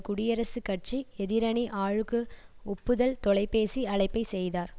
குடியரசுக் கட்சி எதிரணி ஆளுக்கு ஒப்புதல் தொலைபேசி அழைப்பைச் செய்தார்